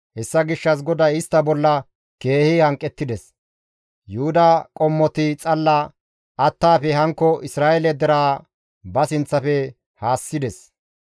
Hessa gishshas GODAY istta bolla keehi hanqettides; Yuhuda qommoti xalla attaafe hankko Isra7eele deraa ba sinththafe haassides.